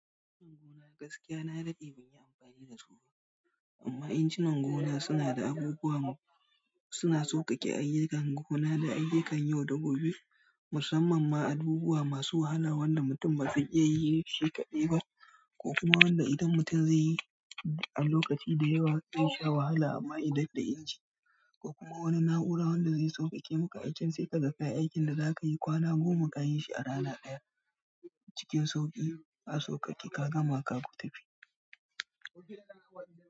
Gaskiya na daɗe amma injinan gona suna da abubuwa suna sauƙaƙe ayyukan gona da ayyukan yau da gobe, musamman ma abubuwa masu wahala wanda mutum baka iya yinshi shiƙaɗai ba ko kuma wanda idan mutum zai yi a lokaci da yawa, zai sha wahala amma idan da inji ko kuma wani na'ura wanda zai sauƙaƙe maka aikin sai ka za kayi aikin da za ka yi kwana goma ka yi shi a rana ɗaya. Cikin sauƙi a sauƙaƙe ka gama ka tafi.